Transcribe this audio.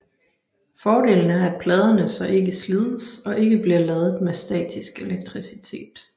Fordelen er at pladerne så ikke slides og ikke bliver ladet med statisk elektricitet